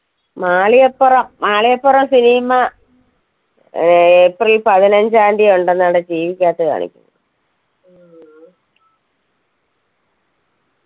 Malikappuram Malikappuram cinema ഏർ April പതിനഞ്ചാംതി ഉണ്ടെന്നാണ് TV ക്കകത്ത് കാണിക്കുന്ന്